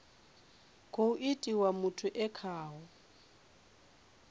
khou itiwa muthu e khaho